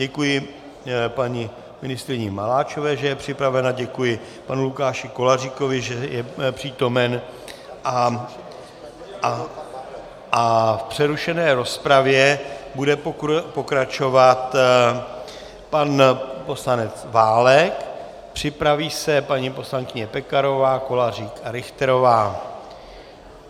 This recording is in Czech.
Děkuji paní ministryni Maláčové, že je připravena, děkuji panu Lukáši Koláříkovi, že je přítomen, a v přerušené rozpravě bude pokračovat pan poslanec Válek, připraví se paní poslankyně Pekarová, Kolářík a Richterová.